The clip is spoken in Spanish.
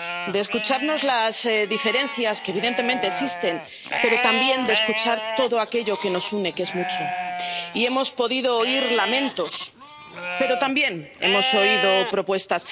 de escucharnos las diferencias, que evidentemente existen, pero también de escuchar todo aquello que nos une —que es mucho—, y hemos podido oír lamentos, pero también hemos oído propuestas.